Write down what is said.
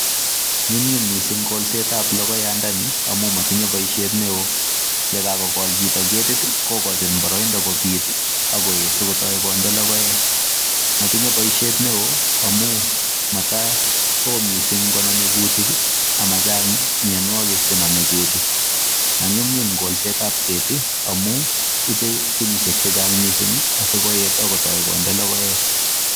Nyumnyum mising kolsetab logoyandani amun motinye boisiet neo, ye kagokol chito ketit kogochin boroindo kobit ak koet sikotoi konde logoek. Motinye boisiet neo amun mata oo mising konome kutik amachang mianwogik che nome keti. Manyumnyum kolsetab keti amun ibe kenyisiek chechang mising asikoet ak kotoi konde logoek.